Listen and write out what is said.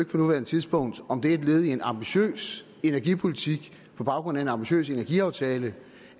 på nuværende tidspunkt om det er et led i en ambitiøs energipolitik på baggrund af en ambitiøs energiaftale